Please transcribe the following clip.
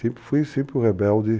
Sempre fui sempre o rebelde.